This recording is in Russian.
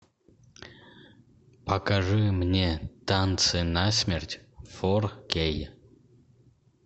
покажи мне танцы насмерть фор кей